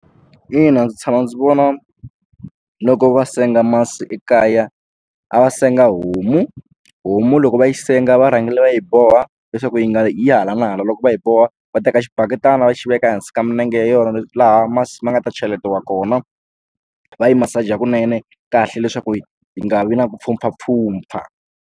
Ina ndzi tshama ndzi vona loko va senga masi ekaya a va senga homu homu loko va yi senga va rhangile va yi boha leswaku yi nga yi hala na hala loko va hi boha va teka xibaketani va xi veka ehansi ka minenge yona laha masi ma nga ta cheletiwa kona va yi masaja hakunene kahle leswaku yi nga vi na ku mpfhumpfha mpfhumpfha.